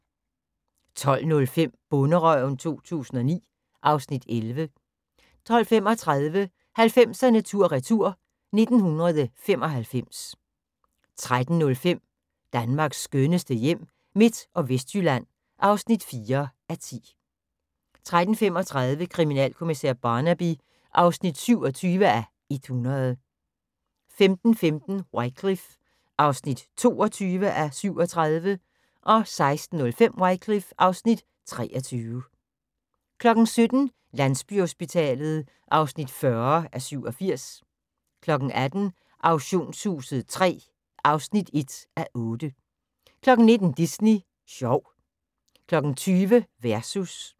12:05: Bonderøven 2009 (Afs. 11) 12:35: 90'erne tur retur: 1995 13:05: Danmarks skønneste hjem – Midt- og Vestjylland (4:10) 13:35: Kriminalkommissær Barnaby (27:100) 15:15: Wycliffe (22:37) 16:05: Wycliffe (23:37) 17:00: Landsbyhospitalet (40:87) 18:00: Auktionshuset III (1:8) 19:00: Disney sjov 20:00: Versus